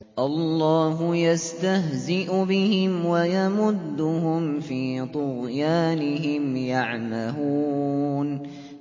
اللَّهُ يَسْتَهْزِئُ بِهِمْ وَيَمُدُّهُمْ فِي طُغْيَانِهِمْ يَعْمَهُونَ